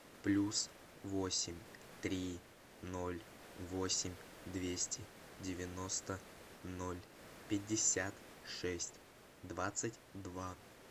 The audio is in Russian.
плюс восемь три ноль восемь двести девяносто ноль пятьдесят шесть двадцать два